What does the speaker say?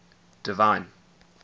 divine